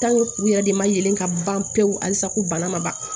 u yɛrɛ de ma yelen ka ban pewu halisa ko bana ma ban